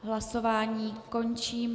Hlasování končím.